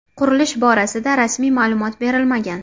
Qurilish borasida rasmiy ma’lumot berilmagan.